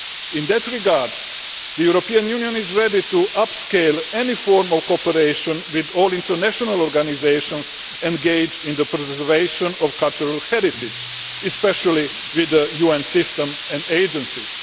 In that regard, the European Union is ready to upscale any form of cooperation with all international organisations engaged in the preservation of cultural heritage, especially with UN systems and agencies.